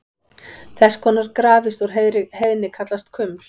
Þess konar grafir úr heiðni kallast kuml.